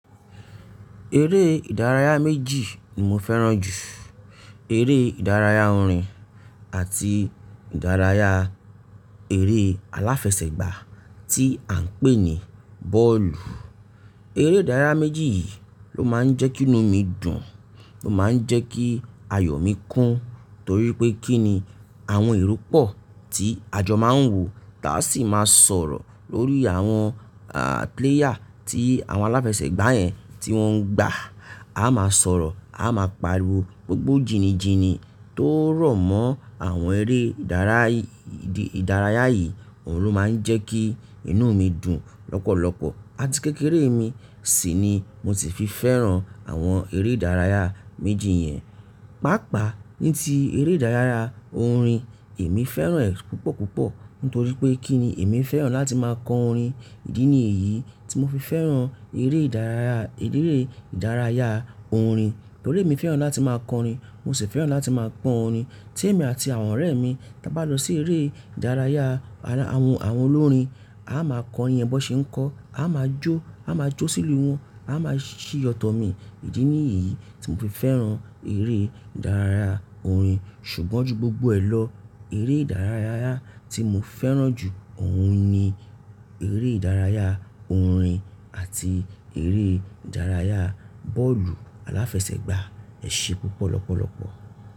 Eré ìdárayá méjì ni mo fẹ́ràn jù. Eré ìdárayá orin àti ìdárayá eré aláfẹsẹ̀gbá tí à ń pè ní bọ́ọ̀lù. Eré ìdárayá méjì yìí ló máa ń jẹ́ kí inú mi dùn, ló máa ń jẹ́ kí ayọ̀ mi kún torí pé kí ni àwọn ìrú pọ̀ tí àjọ máa ń wò, táa sì máa sọ̀rọ̀ lórí àwọn, à, player tí àwọn aláfẹsẹ̀gbá yẹn tí wọ́n ń gbà, a máa sọ̀rọ̀, a máa pariwo, gbogbo jini jini tó rọ̀ mọ́ àwọn eré ìdárayá yìí, òun ló máa ń jẹ́ kí inú mi dùn lọ́pọ̀lọpọ̀. Àti kékeré mi sì ni mo ti fi fẹ́ràn àwọn eré ìdárayá méjì yẹn. Pàápàá ní ti eré ìdárayá orin, èmi fẹ́ràn ẹ́ púpọ̀ púpọ̀ nítorí pé kí ni èmi fẹ́ràn láti máa kọ orin. Idí ni èyí tí mo fi fẹ́ràn eré ìdárayá, eré ìdárayá orin. Torí èmi fẹ́ràn láti máa kọ orin, mo sì fẹ́ràn láti máa gbọ orin. Tí èmi àti àwọn ọ̀rẹ́ mi táa bá lọ sí eré ìdárayá àwọn, àwọn olórin, a máa kọ orin yẹn bọ ṣe ń kọ, a máa jó, a máa jó sílù wọn, a máa ṣí yọ̀tọ̀ mi. Èyí ni èyí tí mo fi fẹ́ràn eré ìdárayá orin. Ṣùgbọ́n ju gbogbo ẹ lọ, eré ìdárayá tí mo fẹ́ràn jù òun ni eré ìdárayá orin àti eré ìdárayá bọ́ọ̀lù aláfẹsẹ̀gbá. Ẹ ṣe púpọ̀ lọ́pọ̀lọpọ̀.